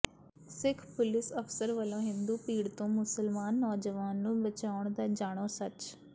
ਸਿੱਖ police ਅਫਸਰ ਵੱਲੋਂ ਹਿੰਦੂ ਭੀੜ ਤੋਂ ਮੁਸਲਿਮ ਨੌਜਵਾਨ ਨੂੰ ਬਚਾਉਣ ਦਾ ਜਾਣੋ ਸੱਚ